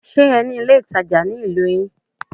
Ṣe ní ilé ìtajà ní ìlú yín?